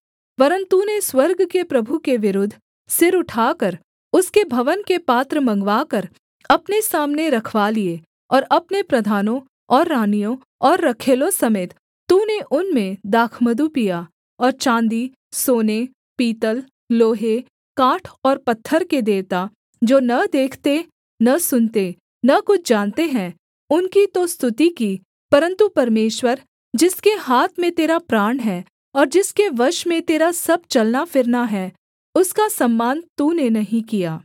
वरन् तूने स्वर्ग के प्रभु के विरुद्ध सिर उठाकर उसके भवन के पात्र मँगवाकर अपने सामने रखवा लिए और अपने प्रधानों और रानियों और रखैलों समेत तूने उनमें दाखमधु पिया और चाँदीसोने पीतल लोहे काठ और पत्थर के देवता जो न देखते न सुनते न कुछ जानते हैं उनकी तो स्तुति की परन्तु परमेश्वर जिसके हाथ में तेरा प्राण है और जिसके वश में तेरा सब चलना फिरना है उसका सम्मान तूने नहीं किया